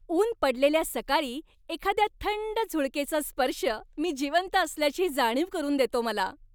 ऊन पडलेल्या सकाळी एखाद्या थंड झुळकेचा स्पर्श, मी जिवंत असल्याची जाणीव करून देतो मला.